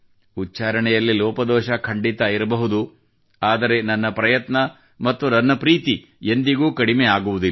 ಉಚ್ಚಾರಣೆಯಲ್ಲಿ ಲೋಪದೋಷ ಖಂಡಿತಾ ಇರಬಹುದು ಆದರೆ ನನ್ನ ಪ್ರಯತ್ನ ಮತ್ತು ನನ್ನ ಪ್ರೀತಿ ಎಂದಿಗೂ ಕಡಿಮೆ ಆಗುವುದಿಲ್ಲ